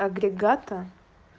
агрегата